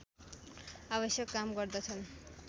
आवश्यक काम गर्दछन्